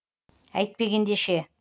әйтпегенде ше